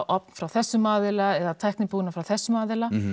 ofn frá þessum aðila eða tæknibúnað frá þessum aðila